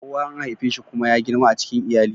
Kowa an haife shi kuma ya girma a cikin iyali.